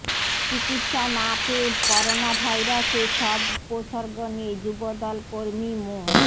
চিকিৎসা না পেয়ে করোনাভাইরাসের সব উপসর্গ নিয়ে যুবদল কর্মী মো